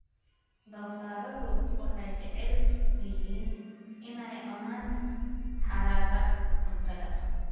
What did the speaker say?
Doofaarradu waxay jecel yihiin inay cunaan haraaga cuntada.